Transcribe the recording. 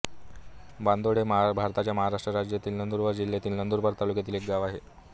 बांदोड हे भारताच्या महाराष्ट्र राज्यातील नंदुरबार जिल्ह्यातील नंदुरबार तालुक्यातील एक गाव आहे